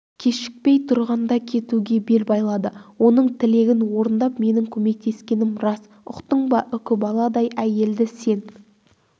кешікпей тұрғанда кетуге бел байлады оның тілегін орындап менің көмектескенім рас ұқтың ба үкібаладай әйелді сен